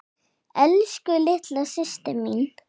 Elsku litla systa mín.